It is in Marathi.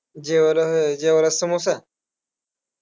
जेवायला व्हय, जेवायला समोसा?